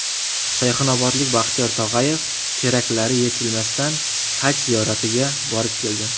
Sayxunobodlik Baxtiyor Tog‘ayev teraklari yetilmasdan Haj ziyoratiga borib keldi.